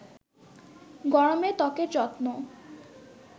গরমে ত্বকের যত্ন